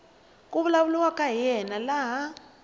ku vulavuriwaka hi yena laha